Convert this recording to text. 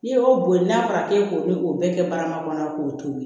N'i y'o boli n'a fɔra k'e k'o bɛɛ kɛ barama kɔnɔ k'o to ye